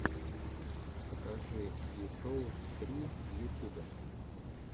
покажи ви соус три в ютюбе